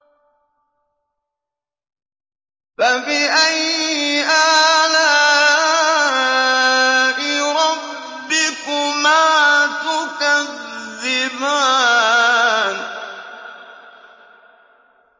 فَبِأَيِّ آلَاءِ رَبِّكُمَا تُكَذِّبَانِ